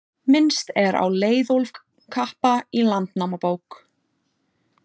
Minnst er á Leiðólf kappa í Landnámabók.